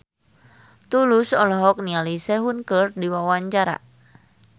Tulus olohok ningali Sehun keur diwawancara